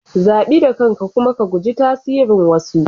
Zabi da kanka kuma ka guji tasirin wasu.